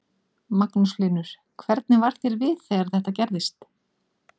Magnús Hlynur: Hvernig varð þér við þegar þetta gerðist?